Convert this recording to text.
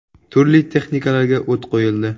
Turli texnikalarga o‘t qo‘yildi.